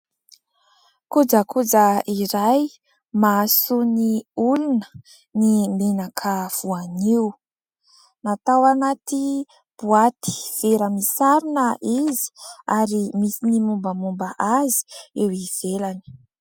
Kojakoja iray mahasoa ny olona ny menaka voanio, natao anaty boaty vera misarona izy ary misy ny mombamomba azy eo ivelany.